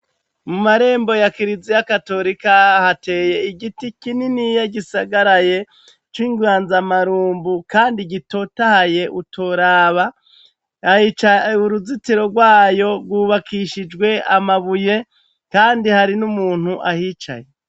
Mu marembo ya Kiliziya Gatolika hateye igiti kininiya gisagaraye c'ingwanzamarumbu kandi gitotahaye utoraba, uruzitiro rwayo rwubakishijwe amabuye kandi hari n'umuntu ahicaye.